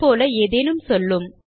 அது போல ஏதேனும் சொல்லும்